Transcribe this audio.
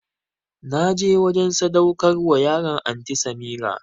Na je wajen sadaukarwar yaran Anty Samirah